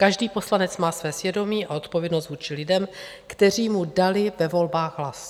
Každý poslanec má své svědomí a odpovědnost vůči lidem, kteří mu dali ve volbách hlas.